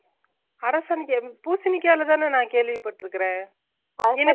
அரசாணிக்கா எது பூசினிக்கா ல தான கேள்விபட்டுருகன்